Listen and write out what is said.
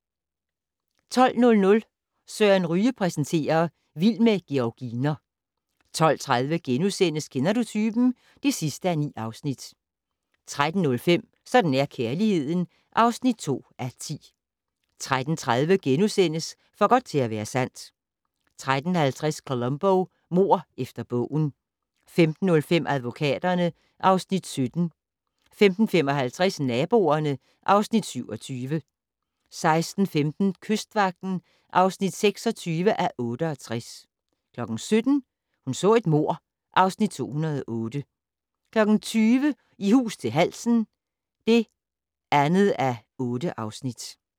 12:00: Søren Ryge præsenterer: Vild med georginer 12:30: Kender du typen? (9:9)* 13:05: Sådan er kærligheden (2:10) 13:30: For godt til at være sandt * 13:50: Columbo: Mord efter bogen 15:05: Advokaterne (Afs. 17) 15:55: Naboerne (Afs. 27) 16:15: Kystvagten (26:68) 17:00: Hun så et mord (Afs. 208) 20:00: I hus til halsen (2:8)